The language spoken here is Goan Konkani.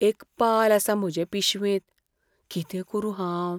एक पाल आसा म्हजे पिशवेंत. कितें करूं हांव?